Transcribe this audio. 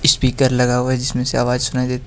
speaker लगा हुआ है जिसमे से आवाज सुनाई देती--